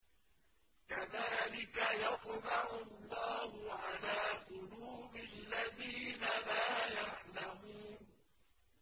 كَذَٰلِكَ يَطْبَعُ اللَّهُ عَلَىٰ قُلُوبِ الَّذِينَ لَا يَعْلَمُونَ